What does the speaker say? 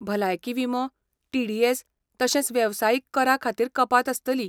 भलायकी विमो, टिडीएस तशेंच वेवसायीक करा खातीर कपात आसतली.